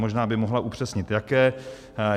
Možná by mohla upřesnit jaké.